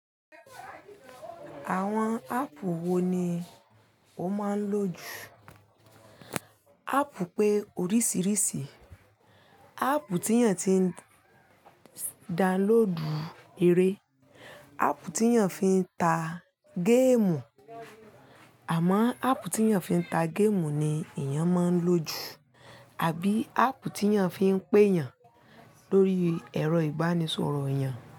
Àwọn áàpù wo ni o máa ń lò jù? Áàpù pé oríṣìíríṣìí, áàpù tí èèyàn ti ń download eré, áàpù tí èèyàn fi ń ta game, àmọ́ áàpù tí èèyàn fi ń ta game ni èèyàn máa ń lò jù, àbí áàpù tí èèyàn fi ń pé èèyàn lórí ẹ̀rọ ìbánisọ̀rọ̀ èèyàn.